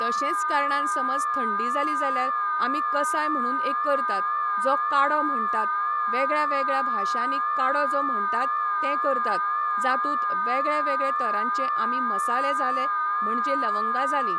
तशेंच कारणान समज थंडी जाली जाल्यार आमी कसाय म्हणून एक करतात, जो काडो म्हणटात, वेगळ्यावेगळ्या भाशांनी काडो जो म्हणटात तें करतात, जातूंत वेगळेवेगळे तरांचे आमी मसाले जाले म्हणजे लवंगां जालीं,